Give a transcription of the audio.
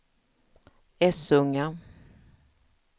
Essunga